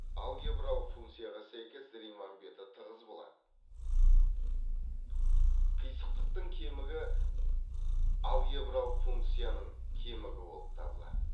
алгебралық функцияға сәйкес риман беті тығыз болады қисықтықтың кемігі алгебралық функцияның кемігі болып табылады